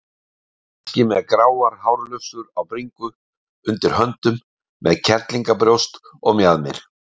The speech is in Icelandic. Kannski með gráar hárlufsur á bringu, undir höndum, með kellíngabrjóst og mjaðmir.